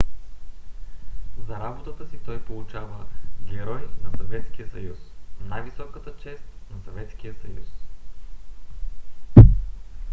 за работата си той получава герой на съветския съюз най-високата чест на съветския съюз